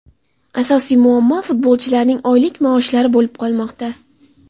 Asosiy muammo – futbolchilarning oylik maoshlar bo‘lib qolmoqda.